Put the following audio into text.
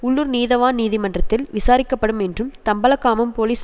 உள்ளூர் நீதவான் நீதிமன்றத்தில் விசாரிக்கப்படும் என்றும் தம்பலகாமம் போலிஸ்